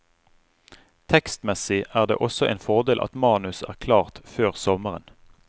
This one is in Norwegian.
Tekstmessig er det også en fordel at manus er klart før sommeren.